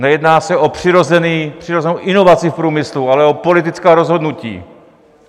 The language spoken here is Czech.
Nejedná se o přirozenou inovaci v průmyslu, ale o politická rozhodnutí.